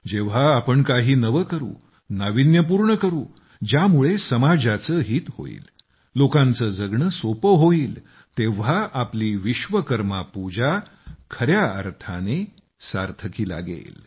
जेव्हा आपण काही नवे करू नावीन्यपूर्ण करू ज्यामुळे समाजाचे हित होईल लोकांचे जगणे सोपे होईल तेव्हा आपली विश्वकर्मा पूजा खऱ्या अर्थाने सार्थकी लागेल